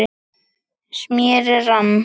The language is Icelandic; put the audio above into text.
smérið rann